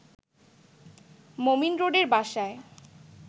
মোমিন রোডের বাসায়